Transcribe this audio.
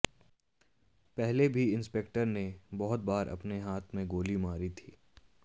पहले भी इंस्पेक्टर ने बहुत बार अपने हाथ में गोली मारी थी